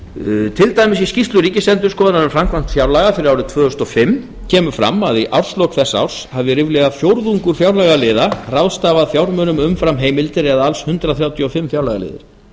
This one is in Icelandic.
til dæmis í skýrslu ríkisendurskoðunar um framkvæmd fjárlaga fyrir árið tvö þúsund og fimm kemur fram að í árslok þess árs hafði ríflega fjórðungur fjárlagaliða ráðstafað fjármunum umfram heimildir eða alls hundrað þrjátíu og fimm fjárlagaliðir